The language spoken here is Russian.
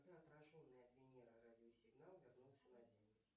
отраженный от венеры радиосигнал вернулся на землю